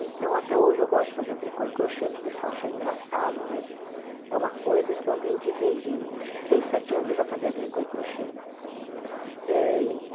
Então, até hoje eu gosto de fazer tricô e crochê, que o pessoal acha engraçado, mas é uma coisa que eu aprendi desde... acho que seis, sete anos eu já fazia tricô e crochê ãh